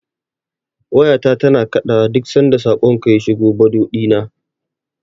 Wayata tana kaɗawa duk sanda saƙonka ya shiga Bado ɗina.